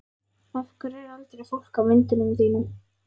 Af hverju er aldrei fólk á myndunum þínum?